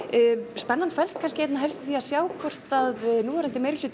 spennan felst kannski helst í því að sjá hvort núverandi